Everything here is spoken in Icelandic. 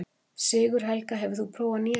Sigurhelga, hefur þú prófað nýja leikinn?